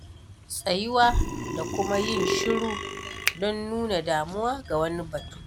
Tsayuwa da kuma yin shiru don nuna damuwa ga wani batu.